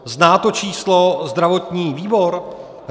Zná to číslo zdravotní výbor?